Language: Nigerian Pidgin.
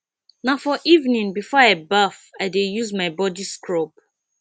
na for evening before i baff i dey use my body scrub